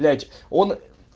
блять он